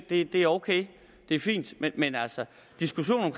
det er ok det er fint men diskussionen